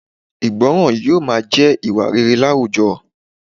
Ìgbọràn yóò máa jẹ́ ìwà rere láwùjọ